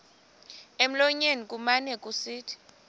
emlonyeni kumane kusithi